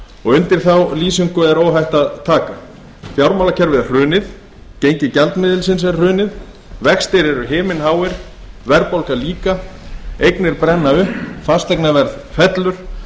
og undir þá lýsingu er óhætt að taka fjármálakerfið er hrunið gengi gjaldmiðilsins er hrunið vextir eru himinháir verðbólga líka eignir brenna upp fasteignaverð fellur